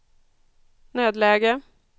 nödläge